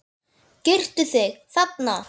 Girtu þig, þarna!